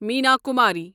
Meena Kumari